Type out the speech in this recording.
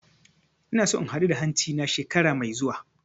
Ina so in huda hanci na shekara mai zuwa